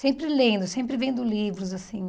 Sempre lendo, sempre vendo livros, assim.